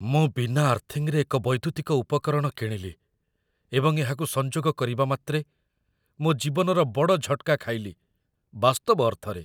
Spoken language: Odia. ମୁଁ ବିନା ଆର୍ଥିଙ୍ଗରେ ଏକ ବୈଦ୍ୟୁତିକ ଉପକରଣ କିଣିଲି ଏବଂ ଏହାକୁ ସଂଯୋଗ କରିବା ମାତ୍ରେ ମୋ ଜୀବନର ବଡ଼ ଝଟ୍କା ଖାଇଲି, ବାସ୍ତବ ଅର୍ଥରେ ।